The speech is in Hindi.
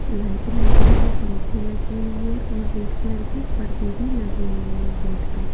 लाइट लगी हुई है पंखे लगी हुई है और रेड कलर के पर्दे भी लगे हुए हैं गेट पे।